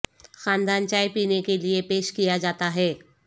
خاندان چائے پینے کے لئے پیش کیا جاتا ہے